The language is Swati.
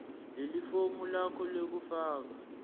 lelifomu lakho lekufaka